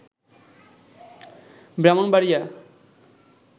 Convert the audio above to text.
Brahmanbaria